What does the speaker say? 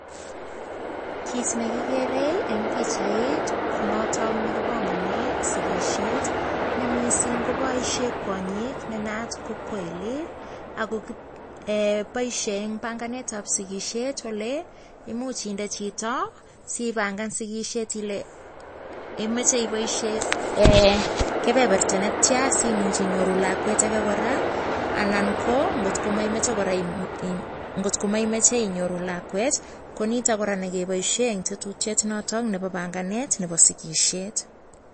?kit nekeree en bichait konaton nekibangani sikishet ne mising kobaishe kwonyik nenayat kokoili akobaishen en banganet ab sikisietkole imuche inde Chito siban Ile imache ibaishen en kebeberta netian simuch inyoru lakwet age koraa ana kotkomaimache inyoru lakwet koniton Ni Irani kebaishen ngetutiet noton nekibaishen en sikisiet